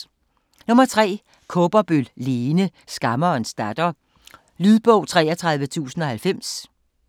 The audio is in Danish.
Kaaberbøl, Lene: Skammerens datter Lydbog 33090